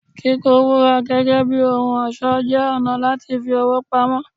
Kíkó Wúrà gẹ́gẹ́ bí ohun ọ̀ṣọ́ jẹ́ ọ̀nà láti fi owó pamọ́.